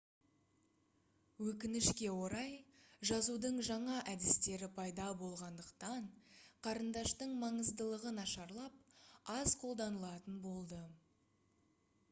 өкінішке орай жазудың жаңа әдістері пайда болғандықтан қарындаштың маңыздылығы нашарлап аз қолданылатын болды